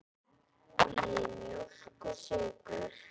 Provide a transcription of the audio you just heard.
Viljið þið mjólk og sykur?